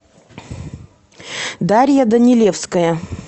дарья данилевская